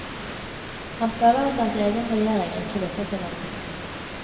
Han føler at hans egen regjering ikke lytter til ham lenger.